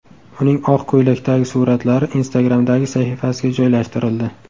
Uning oq ko‘ylakdagi suratlari Instagram’dagi sahifasiga joylashtirildi.